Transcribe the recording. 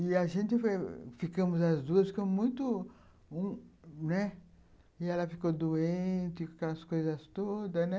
E a gente foi... ficamos as duas com muito... né, e ela ficou doente, com aquelas coisas todas, né?